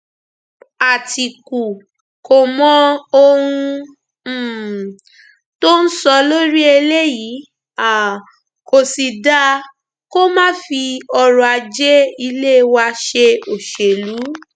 àtìkù kò mọ ohun um tó ń sọ lórí eléyìí um kò sì dáa kó máa fi ọrọajé ilé wa ṣe òṣèlú